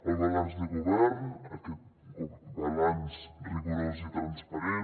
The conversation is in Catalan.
el balanç de govern aquest balanç rigorós i transparent